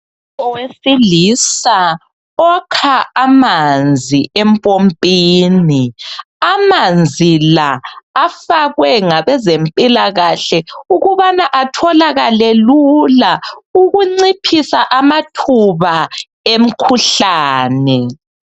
Owesilisa okha amanzi empompini. Amanzi la afakwe ngabezempilakahle ukubana atholakale lula ukuze kunciphiswe amathuba emikhuhlane.